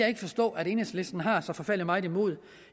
ikke forstå at enhedslisten har så forfærdelig meget imod